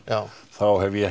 þá hef ég